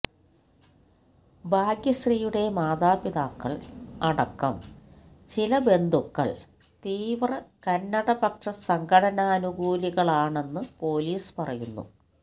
ഭാഗ്യശ്രീയുടെ മാതാപിതാക്കള് അടക്കം ചില ബന്ധുക്കള് തീവ്ര കന്നഡപക്ഷ സംഘടനാനുകൂലികളാണെന്നു പൊലീസ് പറയുന്നു